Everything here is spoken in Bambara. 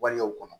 Waleyaw kɔnɔ